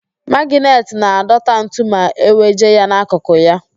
Magịnetị na-adọta ntu ma eweje ya n'akụkụ ya.